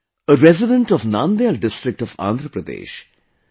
A resident of Nandyal district of Andhra Pradesh, K